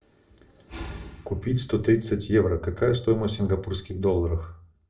купить сто тридцать евро какая стоимость в сингапурских долларах